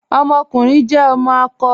Ọmọkùnrin jẹ ọmọ akọ.